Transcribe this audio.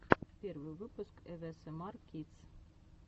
первый выпуск авесэмар кидс